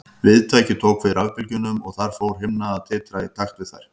Viðtækið tók við rafbylgjunum og þar fór himna að titra í takt við þær.